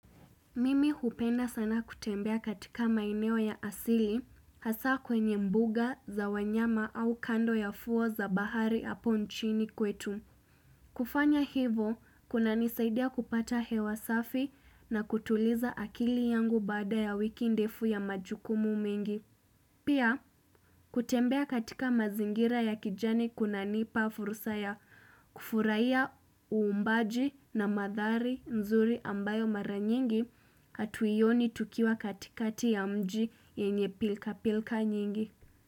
Mimi hupenda sana kutembea katika maeneo ya asili, hasa kwenye mbuga za wanyama au kando ya fuo za bahari hapo nchini kwetu. Kufanya hivo, kunanisaidia kupata hewa safi na kutuliza akili yangu baada ya wiki ndefu ya majukumu mingi. Pia, kutembea katika mazingira ya kijani kunanipa fursa ya kufurahia uumbaji na mandhari nzuri ambayo mara nyingi hatuioni tukiwa katikati ya mji yenye pilka pilka nyingi.